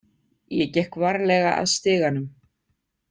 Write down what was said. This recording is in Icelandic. Ég gekk varlega að stiganum.